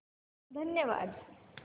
धन्यवाद